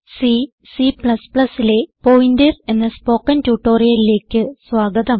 C C ലെ pointers എന്ന spoken ട്യൂട്ടോറിയലിലേക്ക് സ്വാഗതം